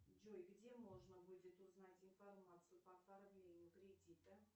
джой где можно будет узнать информацию по оформлению кредита